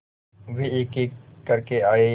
वे एकएक करके आए